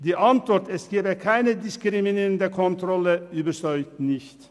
Die Antwort, es gebe keine diskriminierenden Kontrollen, überzeugt nicht.